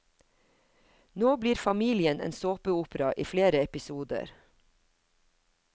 Nå blir familien en såpeopera i flere episoder.